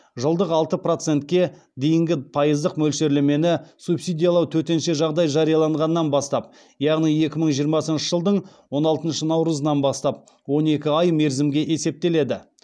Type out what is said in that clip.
жылдық алты процентке дейінгі пайыздық мөлшерлемені субсидиялау төтенше жағдай жарияланғаннан бастап яғни екі мың жиырмасыншы жылдың он алтыншы наурызынан бастап он екі ай мерзімге есептеледі